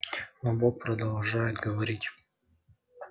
но бог продолжает говорить